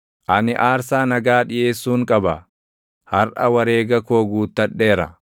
“Ani aarsaa nagaa dhiʼeessuun qaba; harʼa wareega koo guuttadheera.